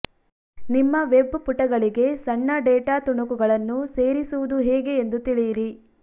ನಿಮ್ಮ ವೆಬ್ ಪುಟಗಳಿಗೆ ಸಣ್ಣ ಡೇಟಾ ತುಣುಕುಗಳನ್ನು ಸೇರಿಸುವುದು ಹೇಗೆ ಎಂದು ತಿಳಿಯಿರಿ